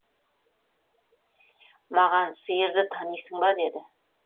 маған сиырды танисың ба деді